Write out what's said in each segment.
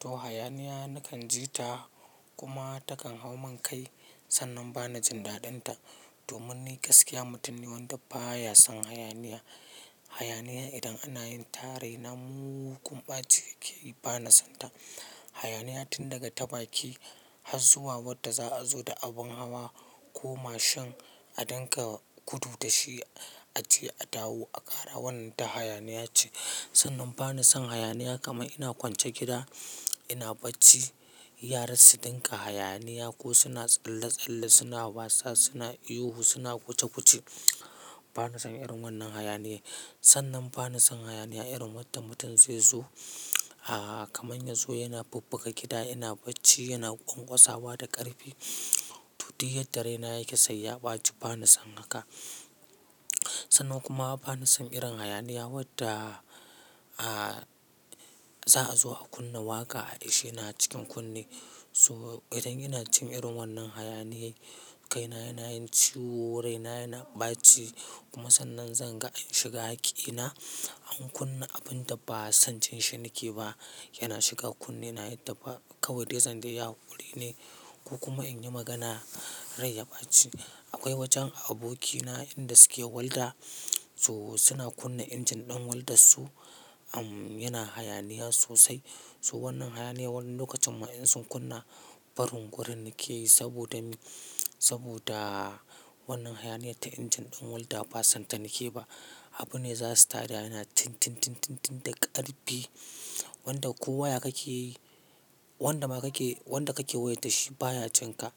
To hayaniya na kan ji ta kuma ta kan hau mun kai sannan ba ni jin daɗinta. Domin ni gaskiya mutum ne wanda ba ya son hayaniya. Hayaniya idan ana yin ta rai na mu kunɓace ke yi, ba na son ta. Hayaniya tun daga ta bakin, har zuwa wadda za a zo da abin hawa ko mashin a ɗinka kudu da shi, a je a dawo, a ƙara wannan ta hayaniya ce. Sannan ba na son hayaniya kamar ina kwance gida ina bacci, yaran su ɗinka hayaniya ko suna tsalle-tsalle suna wasa, suna ihu, suna guce-guce. Ba na son irin wannan hayaniya. Sannan ba na son hayaniya irin wadda mutum zai zo, aah kamanya zo yana babbaka gida, yana bacci, yana ƙwaƙwasa wa da ƙarfi, tudu yadda raina yake sai ya ɓace. Ba na son haka. Sannan kuma ba na son irin hayaniya wadda, aah za a zo a kunna waƙa, ai shi yana cikin kunne. So idan ina cin irin wannan hayaniya, kaina yana yin ciwo, raina yana ɓaci kuma sannan zan ga in shiga hakina. An kunna abun da ba sanjin shi nake ba, yana shiga kunne, yana yi ta fa kawai zanzan ɗaya huli ne ko kuma in yi magana rai ya ɓaci. Akwai wajen abokina inda suke walda, so suna kunna injin ɗin waldar su, am yana hayaniya sosai. To wannan hayaniya wani lokacin ma in sun kunna, farin gurin nake yi saboda, saboda wannan hayaniya ta injin ɗin walda ba san ta nake ba. Abu ne za su tada yana tin, tin, tin, tin da ƙarfi. Wanda ko waya kake yi, wanda ma kake, wanda kake waya da shi ba ya jin ka.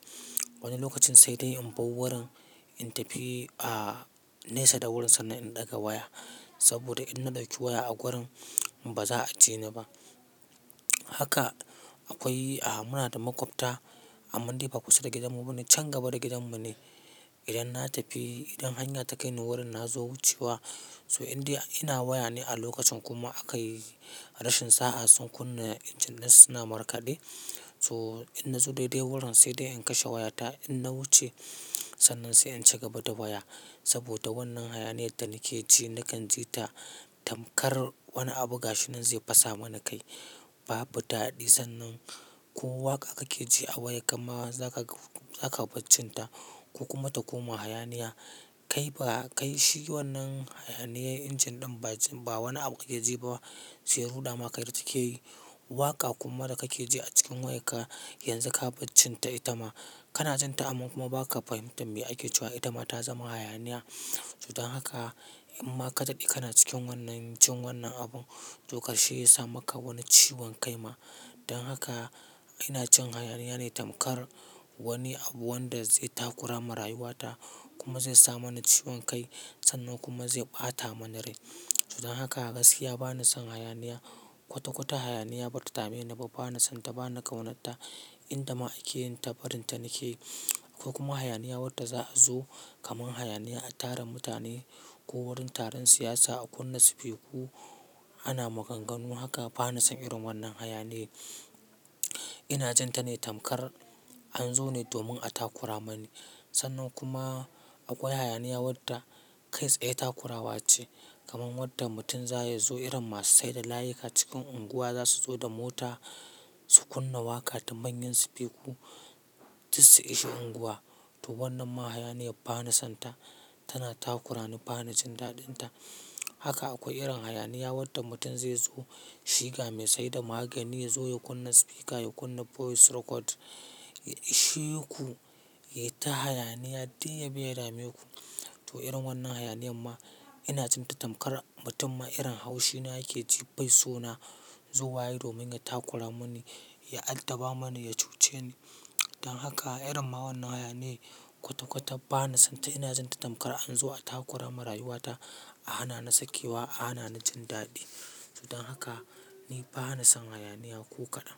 Wani lokacin sai dai in bau wurin, in tafi a nesa da wurin sannan in ɗaga waya. Saboda idan na ɗauki waya a gurin ba za a ji ni ba. Haka akwai a muna da makwabta amma dai ba kusa da gidanmu ba ne, can gaba da gidanmu ne. Idan na tafi, idan hanya ta kai ni wurin na zo wucewa, so in dai ina waya ne a lokacin kuma aka yi rashin sa'a sun kunna injin dai suna markaɗe, so in na zo daidai wurin sai dai in kashe wayata. In na wuce sannan sai in shiga gaba da waya. Saboda wannan hayaniya da nake ji na kan ji ta tamkar wani abu gashi nan zai fasa mana kai. Babu daɗi sannan ko waƙa kake ji a waya kam ma za ka, za ka baccinta ko kuma ta koma hayaniya. Kai ba, kai shi wannan hayaniya injin ɗin ba wani abu kake ji ba, sai ruɗa ma kai da take yi. Waƙa kuma da kake ji a cikin wayarka yanzu ka baccinta itama. Kana jin ta amma kuma ba ka fahimtar me ake cewa itama ta zama hayaniya. Dan haka in ma ka daɗe kana cikin wannan, cin wannan abun, to ka shi ya sa maka wani ciwon kai ma. Dan haka ina cin hayaniya ne tamkar wani abu wanda zai takura marayu wata kuma zai sa mana ciwon kai. Sannan kuma zai ɓata mana rai. Dan haka gaskiya ba na son hayaniya. Kwata-kwata hayaniya bata dame ni ba, ba na son ta, ba na ƙaunata. Inda ma ake yin ta farin ta nake. Akai kuma hayaniya wadda za a zo kamar hayaniya a taron mutane ko wurin taron siyasa a kunna sifiku ana maganganu haka, ba na son irin wannan hayaniya. Ina jin ta ne tamkar an zo ne domin a takura mani. Sannan kuma akwai hayaniya wadda kai tsaye takurawa ce. Kamar wadda mutum za ya zo irin masu saida layika cikin unguwa za su zo da mota su kunna waƙa ta manyan sifiku tusi ishe unguwa. To wannan ma hayaniya ba na son ta. Tana takurani, ba na jin daɗinta. Haka akwai irin hayaniya wadda mutum zai zo shiga mai saida magani ya zo ya kunna sifika, ya kunna voice record, ya ishe ku, ya yi ta hayaniya har dai ya biya dame ku. To irin wannan hayaniya ma ina jin ta tamkar mutum ma irin haushi na yake ji bai so na zo wa yi domin ya takura mani, ya altaba mani, ya cuce ni. Dan haka irin ma wannan hayaniya kwata-kwata ba na son ta. Ina jin ta tamkar an zo a takura marayu wata, a hana ni sakewa, a hana ni jin daɗi. Dan haka ni ba na son hayaniya ko kaɗan.